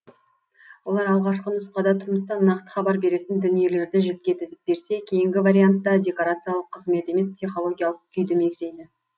олар алғашқы нұсқада тұрмыстан нақты хабар беретін дүниелерді жіпке тізіп берсе кейінгі вариантта декорациялық қызмет емес психологиялық күйді мегзейді